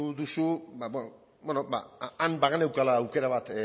duzu han bageneukala aukera bat